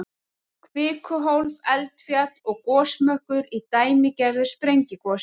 Kvikuhólf, eldfjall og gosmökkur í dæmigerðu sprengigosi.